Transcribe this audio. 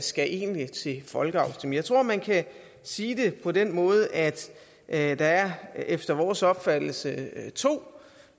skal egentlig til folkeafstemning jeg tror man kan sige det på den måde at at der efter vores opfattelse er to